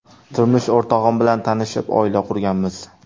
Turmush o‘rtog‘im bilan tanishib, oila qurganmiz.